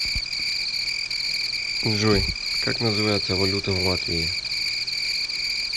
джой как называется валюта в латвии